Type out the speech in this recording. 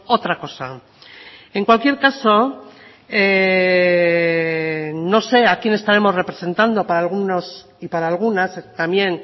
otra cosa en cualquier caso no sé a quién estaremos representando para algunos y para algunas también